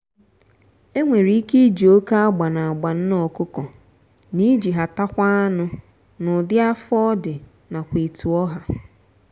enwere ike iji oke agba na-agba nne ọkụkọ na iji ha takwa anụ n'ụdị afọ odi nakwa etu ọha.